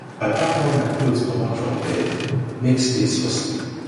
i pack all my clothes comot from bed make space for sleep